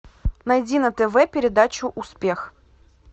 найди на тв передачу успех